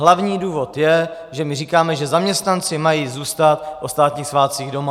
Hlavní důvod je, že my říkáme, že zaměstnanci mají zůstat o státních svátcích doma.